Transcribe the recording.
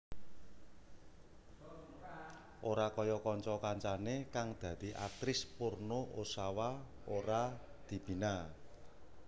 Ora kaya kanca kancane kang dadi aktris porno Ozawa ora dibina